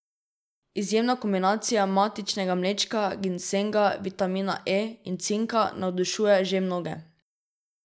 Izjemna kombinacija matičnega mlečka, ginsenga, vitamina E in cinka navdušuje že mnoge.